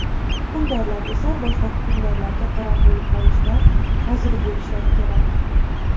hukmdorlar esa boshqa hukmdorlarga qaram bo‘lib qolishdan hazir bo‘lishlari kerak.